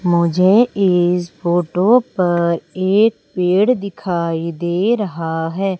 मुझे इस फोटो पर एक पेड़ दिखाई दे रहा है।